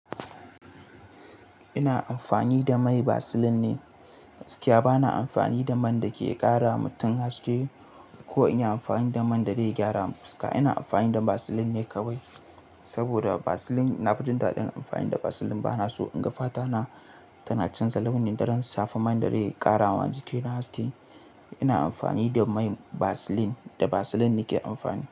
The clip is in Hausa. Ina amfani da mai Vaseline ne gaskiya. Bana amfani da man da ke ƙara mutum haske ko in yi amfani da man da zai gyara fuska. Ina amfani da Vaseline ne kawai saboda Vaseline na fi jin daɗin amfani da Vaseline. Bana so in ga fata na tana canza launin idan shafa man da zai ƙara wa jikina haske. Ina amfani da mai Vaseline, da Vaseline nake amfani.